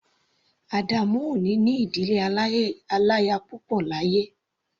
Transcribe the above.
Adamu ò ní ní ìdílé aláya púpọ̀ láyé.